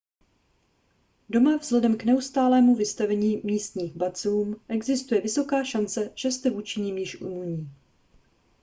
doma vzhledem k neustálému vystavení místním bacilům existuje vysoká šance že jste vůči nim již imunní